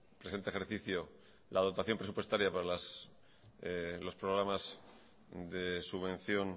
presente ejercicio la dotación presupuestaria para los programas de subvención